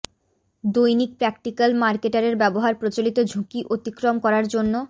দৈনিক প্রাকটিক্যাল মার্কেটারের ব্যবহার প্রচলিত ঝুঁকি অতিক্রম করার জন্য